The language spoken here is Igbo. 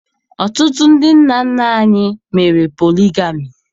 Ọtụtụ ndị nna nna anyị mere poligami